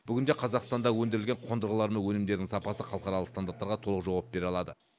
бүгінде қазақстанда өндірілген қондырғылар мен өнімдер сапасы халықаралық стандарттарға толық жауап бере алады